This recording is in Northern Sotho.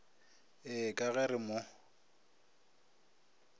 ee ka ge re mo